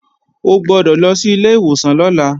O gbọ́dọ̀ lọ sí ilé ìwòsàn lọ́la!